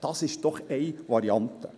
Das ist doch eine Variante.